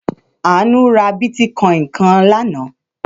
Àánú ra bítíkọ́ìn kan lánàá.